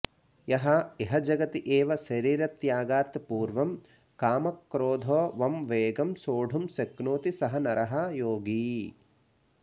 यः इह जगति एव शरीरत्यागात् पूर्वं कामक्रोधोवं वेगं सोढुं शक्नोति सः नरः योगी